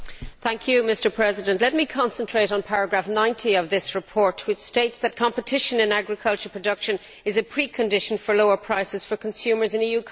Mr President, let me concentrate on paragraph 90 of this report, which states that competition in agricultural production is a precondition for lower prices for consumers in EU countries.